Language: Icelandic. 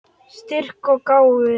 Styrk og gáfur.